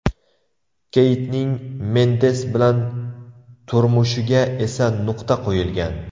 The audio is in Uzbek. Keytning, Mendes bilan turmushiga esa nuqta qo‘yilgan.